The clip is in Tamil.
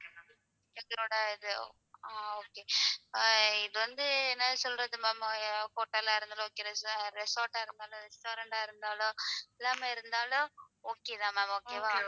ஆ இது ஆ okay இது வந்து என்ன சொல்றது ma'amhotel ஆ இருந்தாலும் okayresorts ஆ இருந்தாலும் restaurant ஆ இருந்தாலும் எல்லாமே இருந்தாலும் okay தான் ma'amokay வா ma'am,